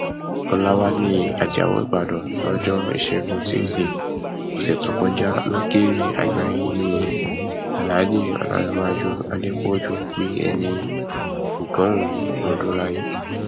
ọlàwálẹ ajáò ìbàdàn lọjọ ìṣẹguntúṣídẹẹ ọsẹ tó kọjá lókèwí àgbáyé nni alhaji olanréwájú adépọjú pé ẹni ọgọrin ọdún láyé